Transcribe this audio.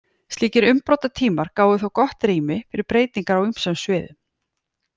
Slíkir umbrotatímar gáfu þó gott rými fyrir breytingar á ýmsum sviðum.